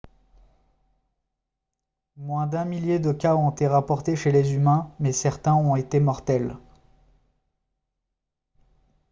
moins d'un millier de cas ont été rapportés chez les humains mais certains ont été mortels